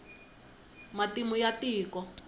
matimu ya tiko